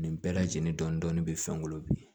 Nin bɛɛ lajɛlen dɔni dɔni bɛ fɛngolo